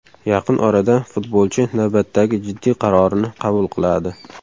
Yaqin orada futbolchi navbatdagi jiddiy qarorini qabul qiladi.